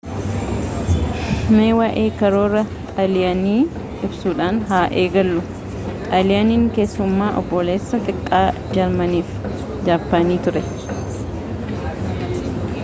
mee waa'ee karoora xaaliyaanii ibsuudhaan haa eegallu xaaliyaaniin keessumaa obboleessa xiqqaa jarmanii fi jaappaanii turte